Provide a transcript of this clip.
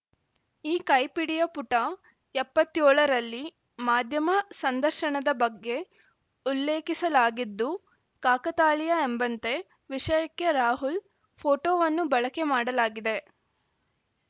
ಈ ಕೈಪಿಡಿಯ ಪುಟ ಎಪ್ಪತ್ತ್ ಏಳ ರಲ್ಲಿ ಮಾಧ್ಯಮ ಸಂದರ್ಶನದ ಬಗ್ಗೆ ಉಲ್ಲೇಖಿಸಲಾಗಿದ್ದು ಕಾಕತಾಳಿಯ ಎಂಬಂತೆ ವಿಷಯಕ್ಕೆ ರಾಹುಲ್‌ ಫೋಟೋವನ್ನು ಬಳಕೆ ಮಾಡಲಾಗಿದೆ